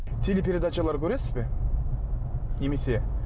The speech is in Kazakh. телепередачалар көресіз бе немесе